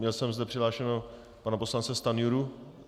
Měl jsem zde přihlášeného pana poslance Stanjuru...